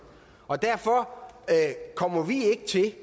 og derfor kommer vi ikke til